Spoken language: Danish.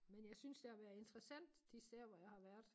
Men jeg synes det har været interessant de steder som jeg har været